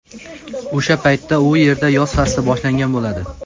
O‘sha paytda u yerda yoz fasli boshlangan bo‘ladi.